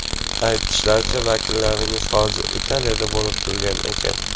Aytishlaricha, vakillaringiz hozir Italiyada bo‘lib turgan ekan?